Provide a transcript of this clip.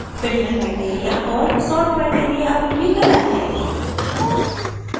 filter criteria और sort criteria अभी भी गलत हैं